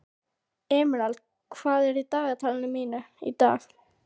Emerald, hvað er í dagatalinu mínu í dag?